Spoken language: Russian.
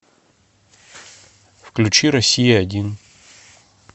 включи россия один